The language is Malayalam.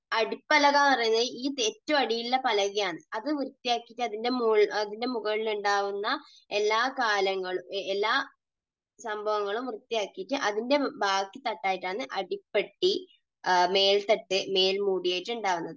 അടിപ്പലക എന്നു പറയുന്നത് ഏറ്റവും അടിയിൽ ഉള്ള പലകയാണ്. അത് വൃത്തിയാക്കി അതിൻറെ മുകളിൽ, അതിൻറെ മുകളിൽ ഉണ്ടാകുന്ന എല്ലാ കാലങ്ങൾ എല്ലാ സംഭവങ്ങളും വൃത്തിയാക്കിയിട്ട് അതിന്റെ ബാക്കി ആയിട്ടാണ് അടിപ്പെട്ടി, മേൽത്തട്ട്, മേൽമൂടി ആയിട്ട് ഉണ്ടാവുന്നത്.